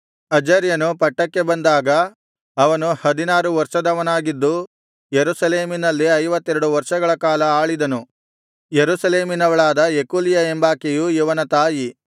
ಅಜರ್ಯನು ಪಟ್ಟಕ್ಕೆ ಬಂದಾಗ ಅವನು ಹದಿನಾರು ವರ್ಷದವನಾಗಿದ್ದು ಯೆರೂಸಲೇಮಿನಲ್ಲಿ ಐವತ್ತೆರಡು ವರ್ಷಗಳ ಕಾಲ ಆಳಿದನು ಯೆರೂಸಲೇಮಿನವಳಾದ ಯೆಕೊಲ್ಯ ಎಂಬಾಕೆ ಇವನ ತಾಯಿ